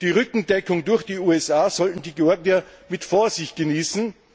Die Rückendeckung durch die USA sollten die Georgier mit Vorsicht genießen.